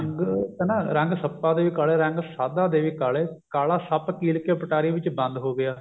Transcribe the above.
ਰੰਗ ਕਹਿੰਦਾ ਰੰਗ ਸੱਪਾਂ ਦੇ ਵੀ ਕਾਲੇ ਰੰਗ ਸਾਧਾਂ ਦੇ ਵੀ ਕਾਲੇ ਕਾਲਾ ਸੱਪ ਕੀਲ ਕੇ ਪਟਾਰੀ ਵਿੱਚ ਬੰਦ ਹੋ ਗਿਆ